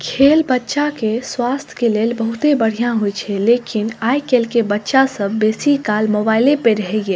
खेल बच्चा के स्वास्थ्य के लेल बहुते बढ़िया होय छै लेकिन आय काएल के बच्चा सब बेसी काल मोबाइल पे रहे ये।